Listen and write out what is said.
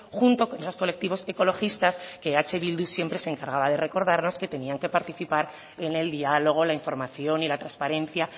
junto con los colectivos ecologistas que eh bildu se encargaba de recordarnos que tenían que participar en el diálogo la información y la transparencia